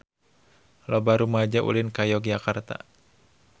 Loba rumaja ulin ka Yogyakarta